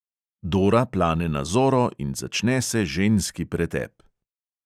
Dora plane na zoro in začne se ženski pretep.